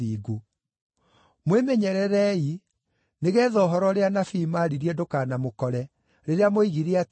Mwĩmenyererei, nĩgeetha ũhoro ũrĩa anabii maaririe ndũkanamũkore, rĩrĩa moigire atĩrĩ: